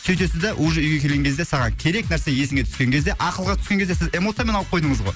сөйтесіз да уже үйге келген кезде саған керек нәрсе есіңе түскен кезде ақылға түскен кезде сіз эмоциямен алып қойдыңыз ғой